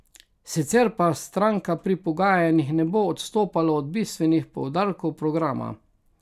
Sicer pa stranka pri pogajanjih ne bo odstopala od bistvenih poudarkov programa.